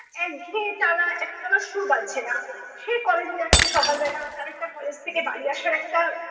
একঘেয়ে টানা একটানা একটা সুর বাজছে না। সে college এ যাচ্ছে সকালবেলা। তার একটা college থেকে বাড়ি আসার একটা